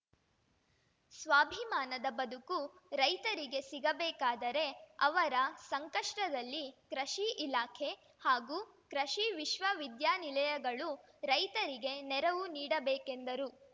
ಸ್ವಾಭಿಮಾನದ ಬದುಕು ರೈತರಿಗೆ ಸಿಗಬೇಕಾದರೆ ಅವರ ಸಂಕಷ್ಟದಲ್ಲಿ ಕೃಷಿ ಇಲಾಖೆ ಹಾಗೂ ಕೃಷಿ ವಿಶ್ವವಿದ್ಯಾನಿಲಯಗಳು ರೈತರಿಗೆ ನೆರವು ನೀಡಬೇಕೆಂದರು